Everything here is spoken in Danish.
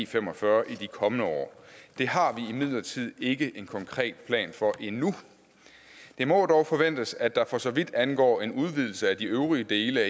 fem og fyrre i de kommende år det har vi imidlertid ikke en konkret plan for endnu det må dog forventes at der for så vidt angår en udvidelse af de øvrige dele af